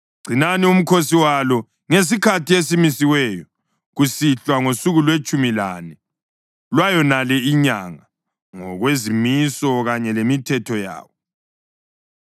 Gcinani umkhosi walo ngesikhathi esimisiweyo, kusihlwa ngosuku lwetshumi lane lwayonale inyanga, ngokwezimiso kanye lemithetho yawo.”